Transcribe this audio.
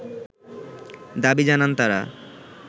দাবি জানান তারা